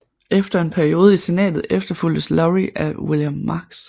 Efter en periode i senatet efterfulgtes Lowrie af William Marks